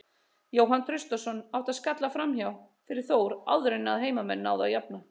Jóhann Traustason átti skalla framhjá fyrir Þór áður en að heimamenn náðu að jafna.